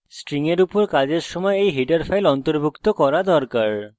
string ফাংশনের উপর কাজ করার সময় এই header file অন্তর্ভুক্ত করা উচিত